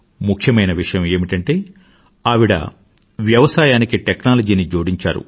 ముఖ్యమైన విషయం ఏమిటంటే అవిడ వ్యవసాయానికి టెక్నాలజీని జోడించారు